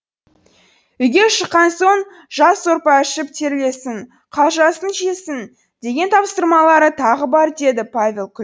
үйге шыққан соң жас сорпа ішіп терлесін қалжасын жесін деген тапсырмалары тағы бар деді павел күл